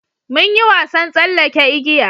mun yi wasan tsallake igiya